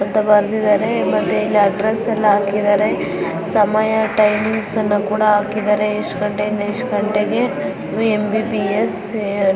ಅಂತ ಬರೆದಿದ್ದಾರೆ ಮತ್ತೆ ಇಲ್ಲಿ ಅಡ್ರೆಸ್ಸ್ ಎಲ್ಲ ಹಾಕಿದ್ದಾರೆ ಸಮಯ ಟೈಮ್ಸನ್ನ ಕುಡ ಹಾಕಿದ್ದಾರೆ ಇಸ್ಟ ಗಂಟೆಯಿಂದ ಇಸ್ಟ ಗಂಟೆಗೆ ಎಮ.ಬಿ.ಬಿ.ಎಸ್‌ --